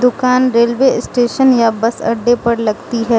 दुकान railway station या bus अड्डे पर लगती है।